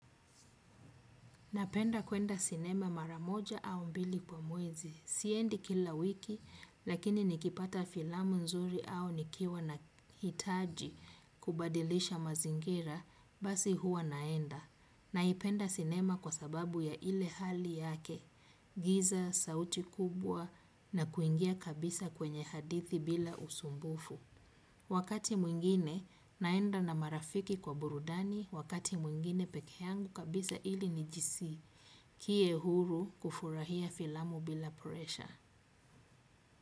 Napenda kwenda sinema mara moja au mbili kwa mwezi. Siendi kila wiki, lakini nikipata filamu nzuri au nikiwa nahitaji kubadilisha mazingira, basi huwa naenda. Naipenda sinema kwa sababu ya ile hali yake, giza, sauti kubwa na kuingia kabisa kwenye hadithi bila usumbufu. Wakati mwingine naenda na marafiki kwa burudani, wakati mwingine peke yangu kabisa ili nijiskie huru kufurahia filamu bila presha.